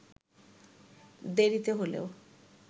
দেরিতে হলেও